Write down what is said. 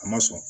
A ma sɔn